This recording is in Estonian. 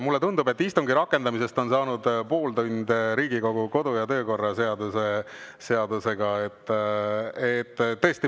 Mulle tundub, et istungi rakendamisest on saanud pooltund Riigikogu kodu‑ ja töökorra seadusega.